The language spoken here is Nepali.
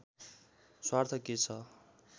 स्वार्थ के छ